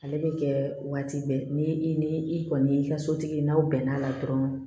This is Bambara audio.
Ale bɛ kɛ waati bɛɛ ni i ni i kɔni y'i ka sotigi ye n'aw bɛn n'a la dɔrɔnw